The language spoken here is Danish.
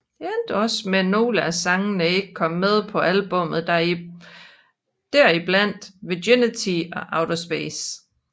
Det endte også med nogle af sangene ikke kom med på albummet der i blandt Virginity og Outer Space